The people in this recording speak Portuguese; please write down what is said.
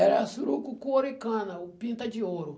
Era surucucu ouricana, ou pinta de ouro.